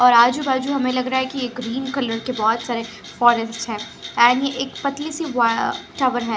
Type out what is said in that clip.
और आजू बाजु हमें लग रहा हैं की एक ग्रीन कलर की बहुत सारे फारेस्ट हैं एंड एक पतली सी वा टावर हैं ।